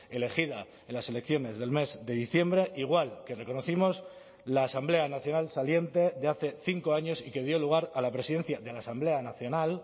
elegida en las elecciones del mes de diciembre igual que reconocimos la asamblea nacional saliente de hace cinco años y que dio lugar a la presidencia de la asamblea nacional